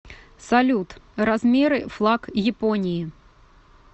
салют размеры флаг японии